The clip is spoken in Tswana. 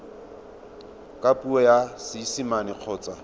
ka puo ya seesimane kgotsa